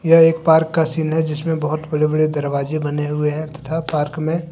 यह एक पार्क का सीन है जिसमे बहोत बड़े बड़े दरवाजे बने हुए है तथा पार्क --